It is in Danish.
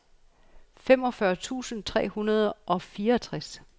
femogfyrre tusind tre hundrede og fireogtres